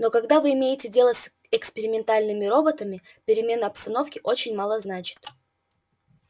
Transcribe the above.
но когда вы имеете дело с экспериментальными роботами перемена обстановки очень мало значит